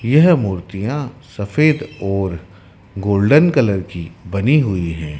यह मूर्तियां सफेद और गोल्डन कलर की बनी हुई है।